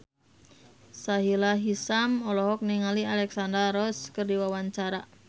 Sahila Hisyam olohok ningali Alexandra Roach keur diwawancara